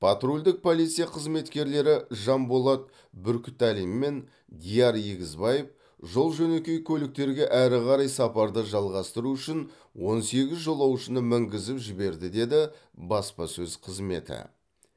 патрульдік полиция қызметкерлері жанболат бүркітәлин мен диар егізбаев жол жөнекей көліктерге әрі қарай сапарды жалғастыру үшін он сегіз жолаушыны мінгізіп жіберді деді баспасөз қызметі